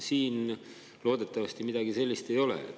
Siin loodetavasti midagi sellist ei ole.